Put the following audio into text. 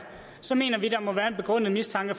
så mener vi der må være en begrundet mistanke